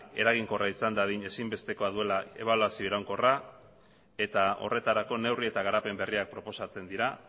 eraginkorra izan dadin ezinbestekoa duela ebaluazio iraunkorra eta horretarako neurri eta garapen berriak proposatzen dira